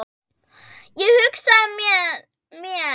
Ég hugsaði með mér